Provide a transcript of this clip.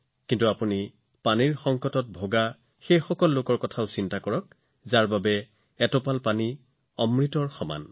কিন্তু আপুনি পানীৰ সংকটৰ ঠাইসমূহত বাস কৰা কোটি কোটি লোকৰ কথা সদায় মনত ৰাখিব লাগিব যাৰ বাবে পানীৰ প্ৰতিটো টোপাল অমৃতৰ সমান